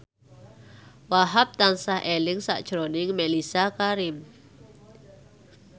Wahhab tansah eling sakjroning Mellisa Karim